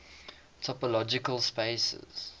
topological spaces